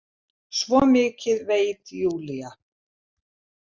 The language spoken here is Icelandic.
Svo mikið veit Júlía.